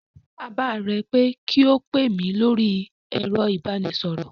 Sọ fún bàbá rẹ pé kí ó pè mí lórí ẹ̀rọ ìbánisọ̀rọ̀